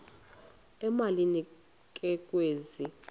emalini ke kwezi